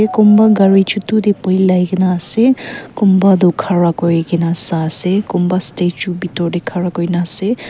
kunba gari chotu te polai kena ase kunba toh khara kuri kena sai ase kunba statue bitor te khara kuri kena ase.